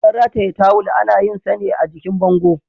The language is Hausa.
Wajen rataye tawil ana yinsa ne a jikin bango.